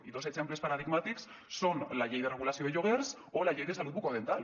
i dos exemples paradigmàtics són la llei de regulació de lloguers o la llei de salut bucodental